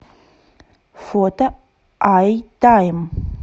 фото айтайм